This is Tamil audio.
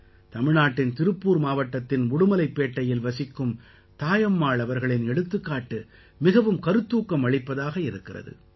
தமிழ்நாட்டின் திருப்பூர் மாவட்டத்தின் உடுமலைப்பேட்டையில் வசிக்கும் தாயம்மாள் அவர்களின் எடுத்துக்காட்டு மிகவும் கருத்தூக்கம் அளிப்பதாக இருக்கிறது